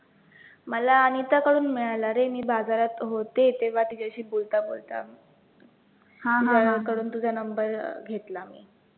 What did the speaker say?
मला अनिताकडून मिळाला रे, मी बाजारात होते, तेव्हा तिच्याशी बोलता बोलता कडून तुझा number अं घेतला मी